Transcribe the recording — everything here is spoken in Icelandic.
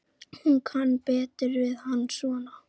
Hún kann betur við hann svona.